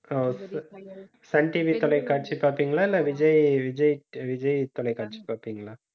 ஓ Sun TV தொலைக்காட்சி பார்ப்பீங்களா இல்லை விஜய், விஜய், விஜய் தொலைக்காட்சி பார்ப்பீங்களா